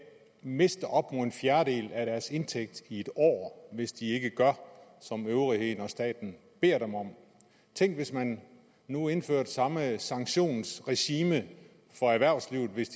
miste op mod en fjerdedel af deres indtægt i en år hvis de ikke gør som øvrigheden og staten beder dem om tænk hvis man nu indførte samme sanktionsregime for erhvervslivet hvis